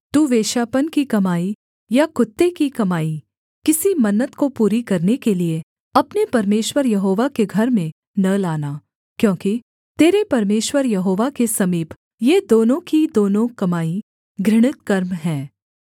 तू वेश्यापन की कमाई या कुत्ते की कमाई किसी मन्नत को पूरी करने के लिये अपने परमेश्वर यहोवा के घर में न लाना क्योंकि तेरे परमेश्वर यहोवा के समीप ये दोनों की दोनों कमाई घृणित कर्म है